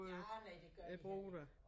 Ja nej det gør ikke